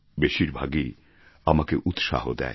বেশীরভাগই আমাকে উৎসাহ দেয়